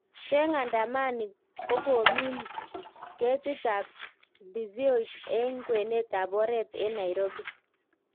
Cheng andamani kokomin kitit ap ndiziot eng kwenet ap oret enNairobi